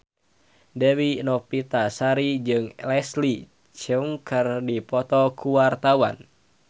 Dewi Novitasari jeung Leslie Cheung keur dipoto ku wartawan